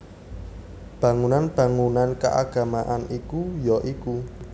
Bangunan bangunan keagamaan iku ya iku